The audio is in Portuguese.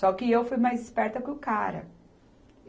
Só que eu fui mais esperta que o cara.